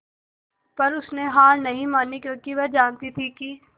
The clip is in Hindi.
पर उसने हार नहीं मानी क्योंकि वह जानती थी कि